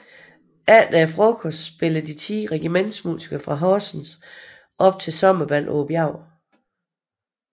Efter frokost spillede de ti regimentsmusikere fra Horsens op til sommerbal på bjerget